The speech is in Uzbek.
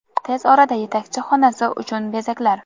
Tez orada yetakchi xonasi uchun bezaklar.